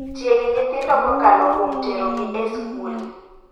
Tieg nyithindo kokalo kuom tero gi e skul.